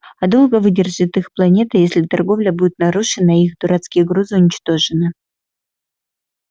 а долго выдержит их планета если торговля будет нарушена и их дурацкие грузы уничтожены